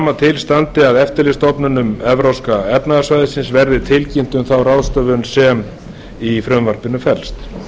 að til standi að eftirlitsstofnunum evrópska efnahagssvæðisins verði tilkynnt um þá ráðstöfun sem í frumvarpinu felst